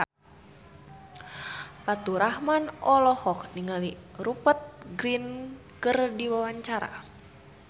Faturrahman olohok ningali Rupert Grin keur diwawancara